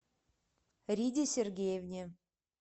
риде сергеевне